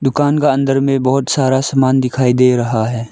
दुकान का अंदर में बहुत सारा सामान दिखाई दे रहा है।